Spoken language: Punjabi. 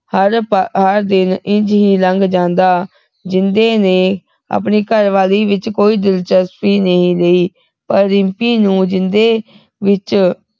ਹਰ ਪਾ ਹਰ ਦਿਨ ਇੰਝ ਹੀ ਲੰਘ ਜਾਂਦਾ ਜਿੰਦੇ ਨੇ ਆਪਣੀ ਘਰਵਾਲੀ ਵਿਚ ਕੋਈ ਦਿਲਚਸਪੀ ਨਹੀਂ ਲਈ ਪਰ ਰਿੰਪੀ ਨੂੰ ਜਿੰਦੇ ਵਿਚ